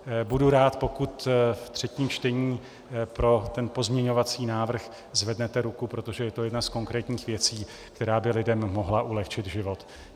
Budu rád, pokud v třetím čtení pro ten pozměňovací návrh zvednete ruku, protože je to jedna z konkrétních věcí, která by lidem mohla ulehčit život.